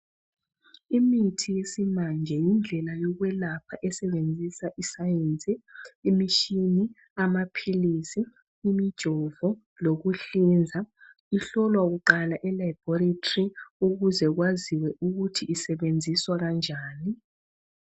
Imithi yesimanje yindlela yokwelapha esebenzisa isayensi, imishini, amaphilisi, imijovo lokuhlinza. Ihlolwa kuqala elaboratory ukuze kwaziwe ukuthi isebenziswa kanjani.